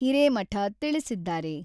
ಹಿರೇಮಠ ತಿಳಿಸಿದ್ದಾರೆ.